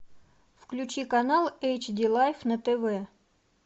включи канал эйч ди лайф на тв